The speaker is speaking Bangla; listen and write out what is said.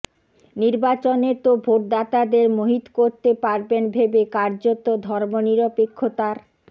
নির্বাচনে তো ভোটদাতাদের মোহিত করতে পারবেন ভেবে কার্যত ধর্মনিরপেক্ষতার